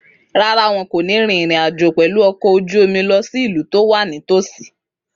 Rárá, wọn kò ní rin ìrìn àjò pẹ̀lú ọkọ̀ ojú omi lọ sí ìlú tó wà nítòsí